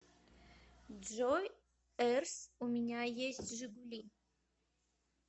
джой эрс у меня есть жигули